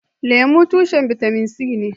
Lemu tushen bitamin c ne.